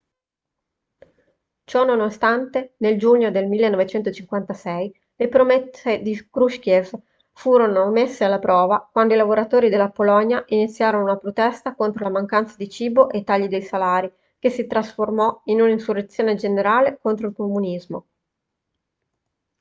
ciononostante nel giugno del 1956 le promesse di krushchev furono messe alla prova quando i lavoratori della polonia iniziarono una protesta contro la mancanza di cibo e i tagli dei salari che si trasformoò in un'insurrezione generale contro il comunismo